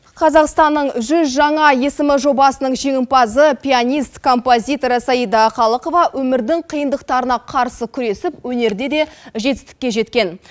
қазақстанның жүз жаңа есімі жобасының жеңімпазы пианист компазитор саида қалықова өмірдің қиындықтарына қарсы күресіп өнерде де жетістікке жеткен